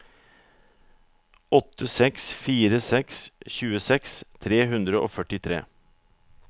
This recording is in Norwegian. åtte seks fire seks tjueseks tre hundre og førtitre